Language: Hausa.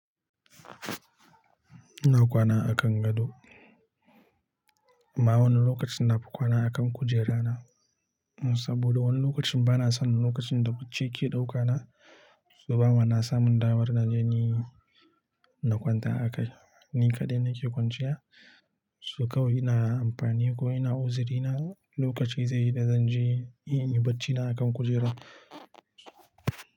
Na kwana a kan gado. Amma wani lokacin nafi kwana a kan kujerana, saboda wani lokacin bana sanin lokacin da bacci ke ɗaukana saboda bana samun damar na je ni na kwanta a kan ni kaɗai nake kwanciya. Su kawai ina amfani ko ina uzurina lokaci zai yi da zan je in yi bacina a kan kujera.